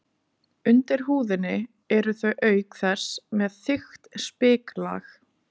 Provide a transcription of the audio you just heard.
Undir húðinni eru þau auk þess með þykkt spiklag.